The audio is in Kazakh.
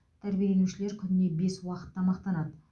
тәрбиеленушілер күніне бес уақыт тамақтанады